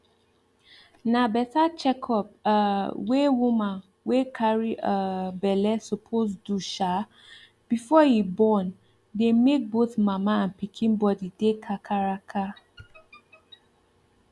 na better checkup um wey woman wey carry um belle suppose do um before e born dey make both mama and pikin body dey kakaraka